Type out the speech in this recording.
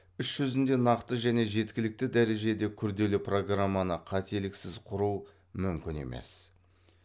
іс жүзінде нақты және жеткілікті дәрежеде күрделі програманы қателіксіз құру мүмкін емес